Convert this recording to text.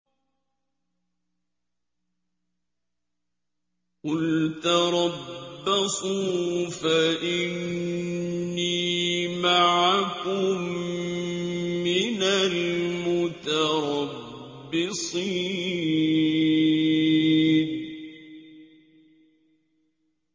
قُلْ تَرَبَّصُوا فَإِنِّي مَعَكُم مِّنَ الْمُتَرَبِّصِينَ